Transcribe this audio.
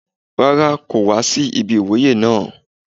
Rárá, kò wá sí ibi ìwúyè naa